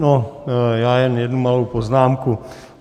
No, já jen jednu malou poznámku.